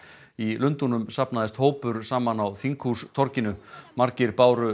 í Lundúnum safnaðist hópur saman á þinghústorginu margir báru